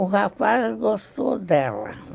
O rapaz gostou dela.